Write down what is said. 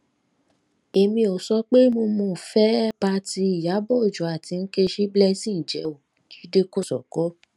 èmi ò sọ pé mo mo fẹẹ bá ti ìyàbò ọjọ àti nkechi blessing jẹ o jíde kòsókó